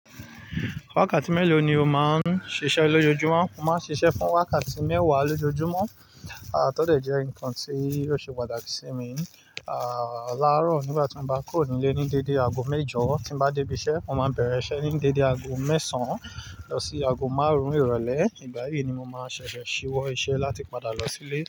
Wákàtí mélòó ni o máa ń ṣiṣẹ́ lójoojúmọ́? Mo máa ń ṣiṣẹ́ fún wákàtí mẹ́wàá lójoojúmọ́. Aàtọ́ dẹ̀ jẹ́ nǹkan tí yóò ṣe pàtàkì sí mi. Ah, láàárọ̀ nígbà tí mo bá kúrò nílé ní dédé ago mẹ́jọ, tí mo bá débi iṣẹ́, mo máa bẹ̀rẹ̀ iṣẹ́ ní dédé ago mẹ́sàn án lọ sí ago márùn-ún ìrọ̀lẹ́. Ìgbà yìí ni mo máa ṣẹ̀ṣẹ̀ ṣíwọ́ iṣẹ́ láti padà lọ sílé.